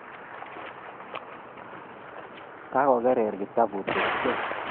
Kagogerer kitabut ochei